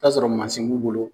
I bi taa sɔrɔ b'u bolo